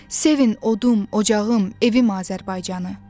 Sevin odum, ocağım, evim Azərbaycanı.